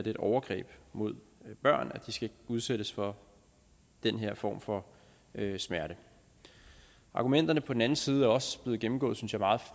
et overgreb mod børn at de skal udsættes for den her form for smerte argumenterne på den anden side er også blevet gennemgået synes jeg meget